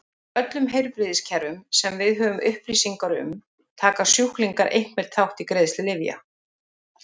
Í öllum heilbrigðiskerfum sem við höfum upplýsingar um taka sjúklingar einhvern þátt í greiðslu lyfja.